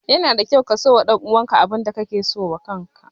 Yana da kyau ka so wa ɗan uwan ka abin da ka ke so wa kan ka.